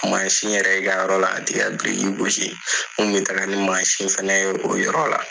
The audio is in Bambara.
yɛrɛ i ka yɔrɔ la ka taa i ka biriki gosi. An kun bi taa bɛ taga ni fɛnɛ ye o yɔrɔ la.